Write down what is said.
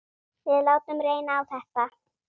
Við látum reyna á þetta.